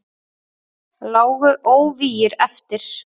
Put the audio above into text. Lágu óvígir eftir.